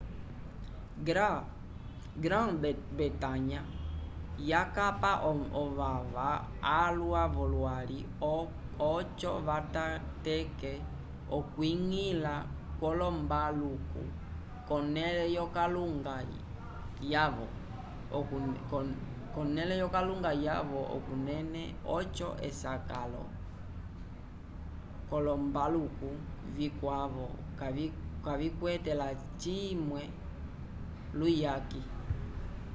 grã-bretanha yakapa ovava alwa v'olwali oco vatateke okwiñgila kwolombaluko k'onẽle yokalunga yavo okunene oco esakalo k'olombaluko vikwavo kavikwete lacimwe luyaki